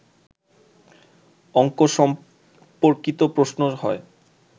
অঙ্ক সম্পর্কিত প্রশ্ন হয়